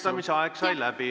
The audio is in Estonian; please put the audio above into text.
Küsimuse esitamise aeg sai läbi.